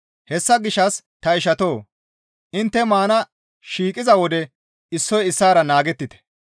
Hessa gishshas ta ishatoo! Intte maana shiiqiza wode issoy issaara naagettite.